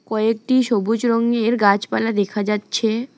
কয়েকটি সবুজ রঙের গাছপালা দেখা যাচ্ছে।